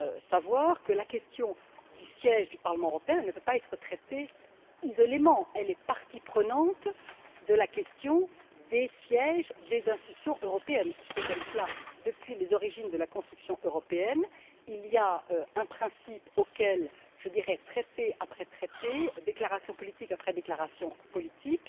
savoir que la question du siège du Parlement européen ne peut pas être traitée isolément elle est partie intégrante de la question des sièges des institutions européennes. C'est ainsi depuis les origines de la construction européenne. Il y a un principe auquel, traité après traité, déclaration politique après déclaration politique,